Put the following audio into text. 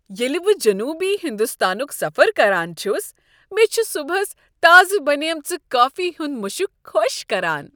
ییٚلہ بہٕ جنوبی ہنٛدستانک سفر کران چھس، مےٚ چھ صبحس تازٕ بنیمژ کافی ہنٛد مشک خوش كران ۔